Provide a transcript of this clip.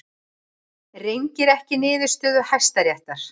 Rengir ekki niðurstöðu Hæstaréttar